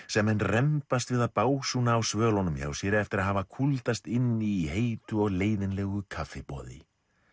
sem menn rembast við að básúna á svölunum hjá sér eftir að hafa inni í heitu og leiðinlegu kaffiboði